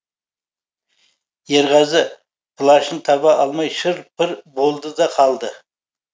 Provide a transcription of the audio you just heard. ерғазы плащын таба алмай шыр пыр болды да қалды